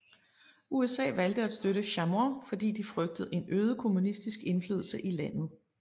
USA valgte at støtte Chamoun fordi de frygtede en øget kommunistisk indflydelse i landet